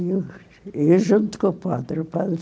E eu e eu junto com o padre. O padre